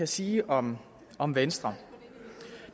sige om om venstre